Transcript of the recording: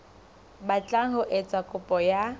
batlang ho etsa kopo ya